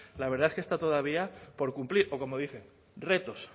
la verdad es que está todavía por cumplir o como dice retos